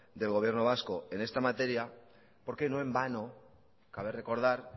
del gobierno vasco en esta materia porque no en vano cabe recordar